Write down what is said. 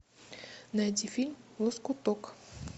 найди фильм лоскуток